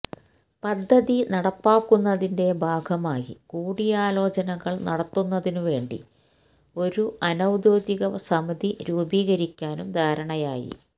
പദ്ധതി നടപ്പാക്കുന്നതിന്റെ ഭാഗമായി കൂടിയാലോചനകള് നടത്തുന്നതിനു വേണ്ടി ഒരു അനൌദ്യോഗിക സമിതി രൂപീകരിക്കാനും ധാരണയായി